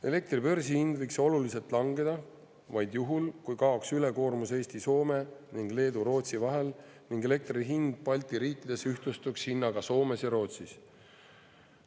Elektri börsihind võiks oluliselt langeda vaid juhul, kui kaoks ülekoormus Eesti-Soome ning Leedu-Rootsi vahel ning elektri hind Balti riikides ühtlustuks hinnaga Soomes ja Rootsis.